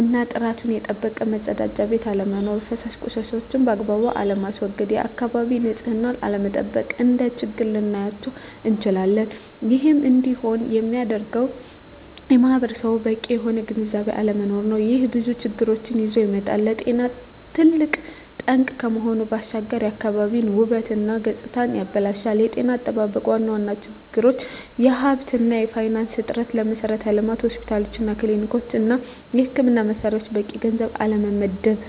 እና ጥራቱን የጠበቀ መፀዳጃ ቤት አለመኖር። ፈሳሽ ቆሻሻዎችን ባግባቡ አለማስዎገድ፣ የአካባቢን ንፅህና አለመጠበቅ፣ እንደ ችግር ልናያቸው እንችላለን። ይህም እንዲሆን የሚያደርገውም ማህበረሰቡ በቂ የሆነ ግንዝቤ ባለመኖሩ ነው። ይህም ብዙ ችግሮችን ይዞ ይመጣል። ለጤና ትልቅ ጠንቅ ከመሆኑ ባሻገር የአካባቢን ውበት እና ገፅታንም ያበላሻል። የጤና አጠባበቅ ዋና ዋና ችግሮች የሀብት እና የፋይናንስ እጥረት፣ ለመሠረተ ልማት (ሆስፒታሎች፣ ክሊኒኮች) እና የሕክምና መሣሪያዎች በቂ ገንዘብ አለመመደብ።